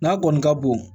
N'a kɔni ka bon